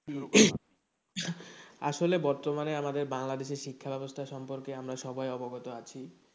আসলে বর্তমানে আমাদের বাংলাদেশে শিক্ষা ব্যাবস্থা সম্পর্কে আমরা সবাই অবগত আছি।